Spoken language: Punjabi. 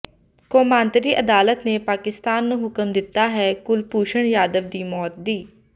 ਕੌਮਾਂਤਰੀ ਅਦਾਲਤ ਨੇ ਪਾਕਿਸਤਾਨ ਨੂੰ ਹੁਕਮ ਦਿੱਤਾ ਹੈ ਕੁਲਭੂਸ਼ਣ ਜਾਧਵ ਦੀ ਮੌਤ ਦੀ